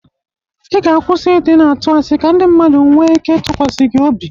Ị ga-akwụsi ị dị na-atụ asị ka ndị mmadụ nwe ike ịtụkwasị gị obi.